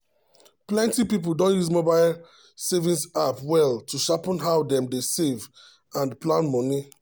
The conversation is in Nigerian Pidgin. plenty people don use mobile saving app well to sharpen how dem dey save and plan money.